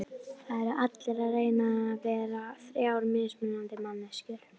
Það eru allir að reyna að vera þrjár mismunandi manneskjur.